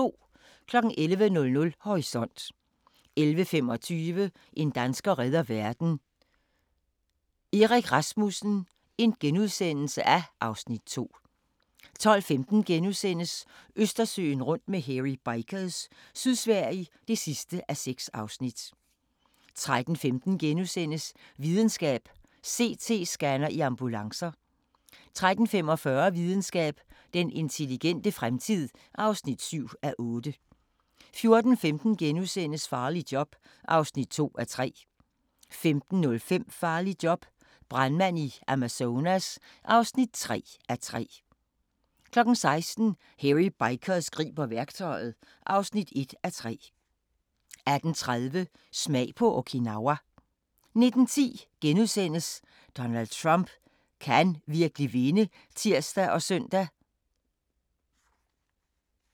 11:00: Horisont 11:25: En dansker redder verden – Erik Rasmussen (Afs. 2)* 12:15: Østersøen rundt med Hairy Bikers – Sydsverige (6:6)* 13:15: Videnskab: CT-scanner i ambulancer (6:8)* 13:45: Videnskab: Den intelligente fremtid (7:8) 14:15: Farligt job (2:3)* 15:05: Farligt job – brandmand i Amazonas (3:3) 16:00: Hairy Bikers griber værktøjet (1:3) 18:30: Smag på Okinawa 19:10: Donald Trump – kan han virkelig vinde? *(tir og søn)